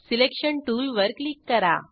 selection टूलवर click करा